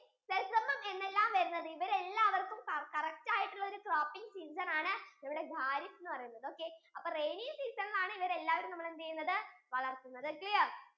sesame ഉം എന്നെല്ലാം വരുന്നത് അവര് എല്ലാവർക്കും correct ആയിട്ടുള്ള ഒരു cropping season ആണ് ഇവിടെ kharif എന്ന് പറയുന്നത് okay അപ്പൊ rainy season യിൽ ആണ് ഇവരെ എല്ലാരേയും നമ്മൾ എന്ത് ചെയുന്നത്? വളർത്തുന്നത്